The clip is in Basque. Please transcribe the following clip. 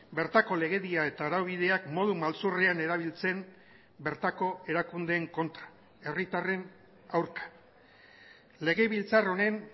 bertako legedia eta araubideak modu maltzurrean erabiltzen bertako erakundeen kontra herritarren aurka legebiltzar honen